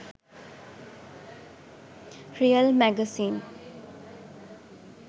real magazine